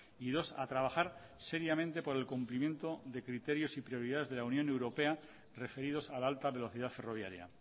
y dos a trabajar seriamente por el cumplimiento de criterios y prioridades de la unión europea referidos a la alta velocidad ferroviaria